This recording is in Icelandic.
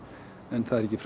en það er ekki